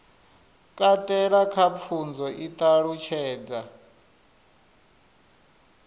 katela kha pfunzo i ṱalutshedza